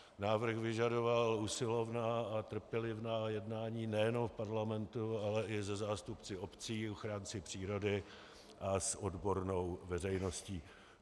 Návrh vyžadoval usilovná a trpělivá jednání nejenom v parlamentu, ale i se zástupci obcí, ochránci přírody a s odbornou veřejností.